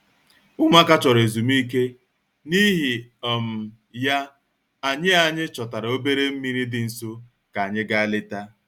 Ụmụaka chọrọ ezumike, n'ihi um ya, anyị anyị chọtara obere mmiri dị nso ka anyị gaa leta